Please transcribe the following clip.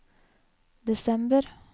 desember